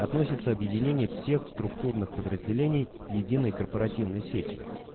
относится объединение всех структурных подразделений единой корпоративной сетью